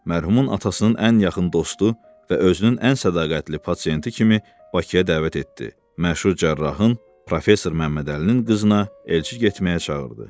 Mərhumun atasının ən yaxın dostu və özünün ən sədaqətli pasiyenti kimi Bakıya dəvət etdi, məşhur cərrahın, professor Məmmədəlinin qızına elçi getməyə çağırdı.